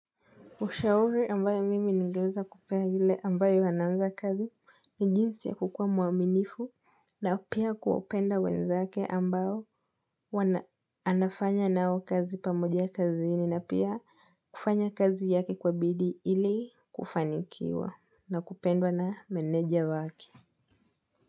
Ushauri ambayo mimi nigeweza kupea yule ambaye ananza kazi ni jinsi ya kukuwa mwaminifu na pia kuwapenda wenzake ambao wana anafanya nao kazi pamoja kazini na pia kufanya kazi yake kwa bidii ili kufanikiwa na kupendwa na meneja wake.